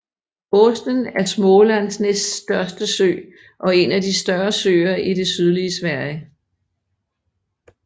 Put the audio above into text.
Åsnen er Smålands næststørste sø og en af de større søer i det sydlige Sverige